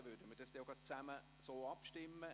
Dann würden wir so darüber abstimmen.